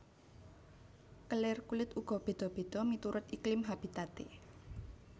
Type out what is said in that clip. Kelir kulit uga beda beda miturut iklim habitate